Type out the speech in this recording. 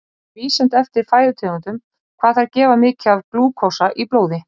Það er misjafnt eftir fæðutegundum hvað þær gefa mikið af glúkósa í blóði.